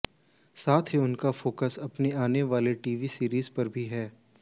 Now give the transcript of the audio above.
साथ ही उनका फोकस अपनी आने वाली टीवी सीरीज पर भी है